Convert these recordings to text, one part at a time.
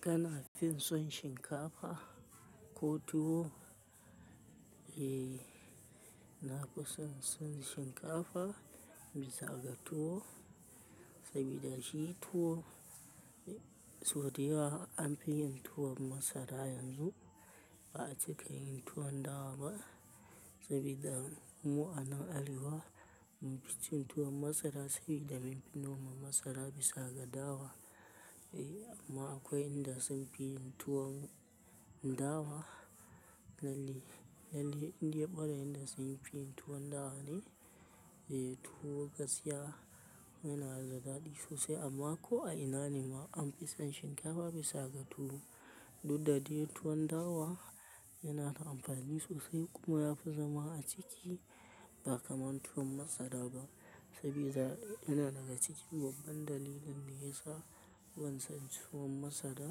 Kana fin son shinkafa ko tuwo? Eh, na fi son son shinkafa bisa ga tuwo, saboda shi tuwo, sau dai yawa an fi yin tuwon masara yanzu ba a cika yin tuwon dawa ba saboda mu a nan arewa. Mu fi cin tuwon masara saboda mun fi noma masara bisa ga dawa. Eh, amma akwai inda sun fi yin tuwon dawa. Lalle, lalle in dai mara inda sun fi yin tuwon dawa ne, eh tuwo gaskiya yana da daɗi sosai amma ko a ina nima an fi son shinkafa bisa ga tuwo. Dudda dai tuwon dawa yana da amfani sosai kuma yafi zama a ciki ba kaman tuwon masara ba saboda yana daga cikin babban dalilin ne ya sa ban son tuwon masara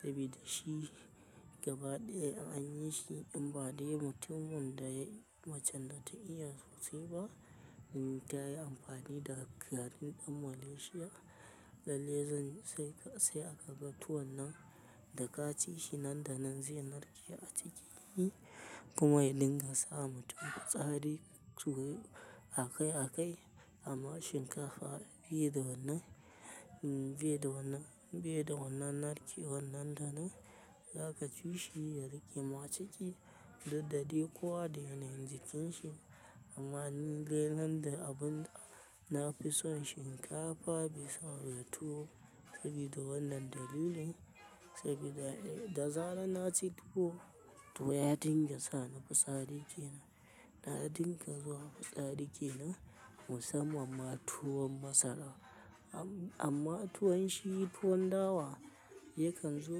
saboda shi gabaɗaya an yi shi in ba dai mutumin da ya, macen da ta iya sosai ba, in ta yi amfani da garin ɗin Malaysia. Lalle zan sai, sai aka ga tuwon nan da ka ci shi nan da nan zai narke a ciki kuma ya dinga sa mutum fitsari so akai-akai. Amma shinkafa bai da wannan, bai da wannan, bai da wannan narki wannan da nan zaka ci shi ya rika ma ciki dudda dai kowa da yanayin jikin shi. Amma ni dai nan da abun na fi son shinkafa bisa ga tuwo saboda wannan dalilin saboda da zara na ci tuwo tuwo ya dinga sa ni fitsari kenan. Na dinga zuwa fitsari kenan musamman ma tuwon masara. Am-amma tuwon shi tuwon dawa yakan zo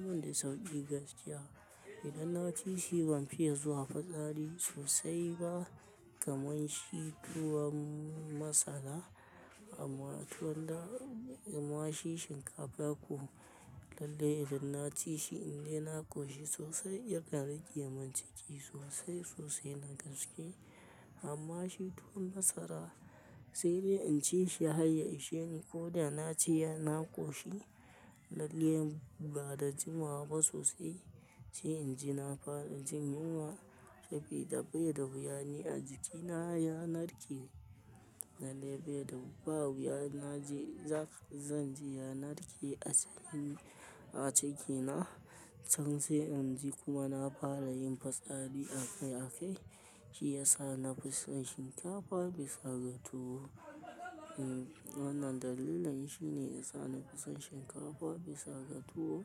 min da sauƙi gaskiya. Idan na ci shi ban fiya zuwa fitsari sosai ba kamar shi tuwon masara. Amma tuwon da, amma shi shinkafa ko lalle idan na ci shi in dai na ƙoshi sosai ya kan rika min ciki sosai sosai na gaske. Amma shi tuwon masara sai dai in ci shi har ya isheni ko dai na ci ya na ƙoshi lalle bada jima ba sosai. Sai in ji na fara jin yunwa saboda bai da wuya ni a jikina ya narke. Lalle bai da, ba wuya na je za ka, zan ji ya narke a cikin, a cikina can sai in ji kuma na fara yin fitsari akai akai. Shi yasa na fi son shinkafa bisa ga tuwo. Hmm, wannan dalilin ne shi ne ya sa na fi son shinkafa bisa ga tuwo.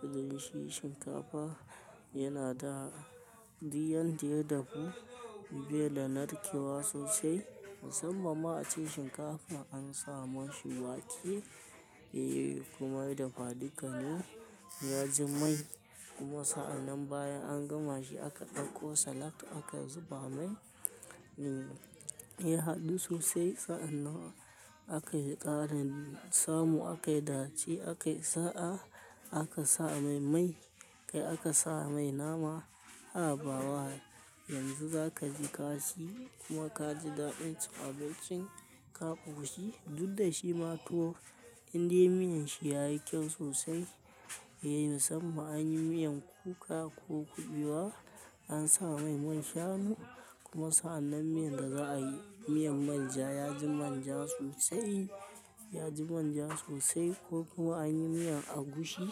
Saboda shi shinkafa yana da diyan diye dafu bai da narkewa sosai. Musamman ma a ce shinkafa an sa ma shi wake, eh kuma ya dafa duka ne ya ji mai. Kuma sa'annan bayan an gama shi aka ɗauko salad aka zuba mai. Hmm, ya haɗu sosai sa'annan aka yi ƙarin samu aka yi ɗaci aka yi sa'a aka sa mai mai kai aka sa mai nama habawa. Yanzu za ka ji ka ci kuma ka ji daɗin cin abincin ka ƙoshi. Dudda shi ma tuwo in dai miyan shi yayi kyau sosai, eh musamman an yi miyan kuka ko kuɓewa an sa mai man shanu kuma sa'anan miyan da za a yi miyan manja ya ji manja sosai, ya ji manja sosai ko kuma an yi miyan agushi,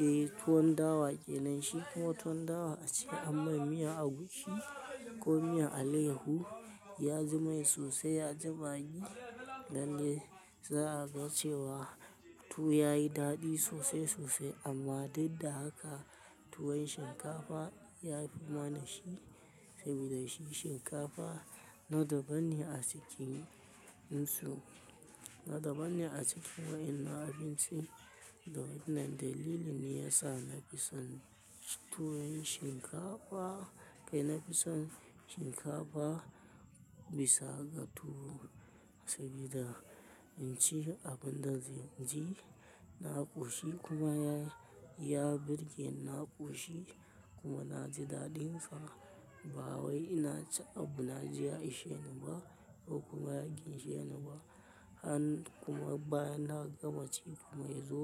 eh tuwon dawa ƙenan shi kuma tuwon dawa a ce anyi mai miyan agushi ko miyan alehu ya ji mai sosai ya ji maggi. Lalle za a ga cewa tuwo yayi daɗi sosai sosai amma duk da haka tuwon shinkafa yafi ma na shi saboda shi shinkafa na daban ne a cikin su, na daban ne a cikin wayanan abinci. To wannan dalili ne ya sa na fi son tuwon shinkafa kai na fi son shikafa bisa ga tuwo. Saboda in ci abin da zan ji na koshi kuma ya birge na koshi kuma na ji dadin sa ba wai ina cin abu na ji ya ishe ni ba ko kuma ya gyashi ni ba an kuma bayan na gama ci kuma ya zo.